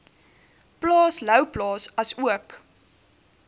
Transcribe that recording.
plaas louwplaas asook